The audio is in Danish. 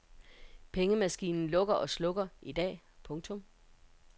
Pengemaskinen lukker og slukker i dag. punktum